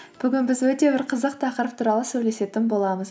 бүгін біз өте бір қызық тақырып туралы сөйлесетін боламыз